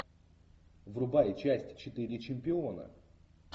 врубай часть четыре чемпиона